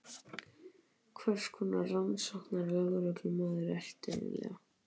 Hvers konar rannsóknarlögreglumaður ertu eiginlega?